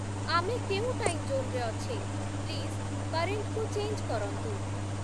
ଆମେ କେଉଁ time zone ରେ ଅଛେ? ପ୍ଲିଜ୍‌ କରେଣ୍ଟ୍‌କୁ ଚେଞ୍ଜ୍‌ କରନ୍ତୁ